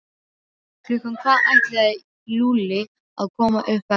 Klukkan hvað ætlaði Lúlli að koma upp eftir?